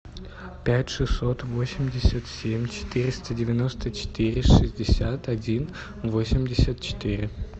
пять шестьсот восемьдесят семь четыреста девяносто четыре шестьдесят один восемьдесят четыре